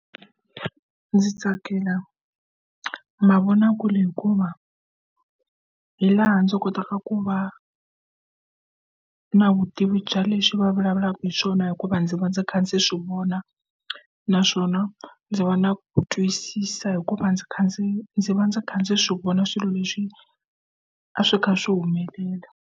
Ndzi tsakela mavonakule hikuva hi laha ndzi kotaka ku va na vutivi bya leswi va vulavulaka hi swona hikuva ndzi va ndzi kha ndzi swi vona naswona ndzi va na ku twisisa hikuva ndzi kha ndzi ndzi va ndzi kha ndzi swi vona swilo leswi a swi kha swi humelela.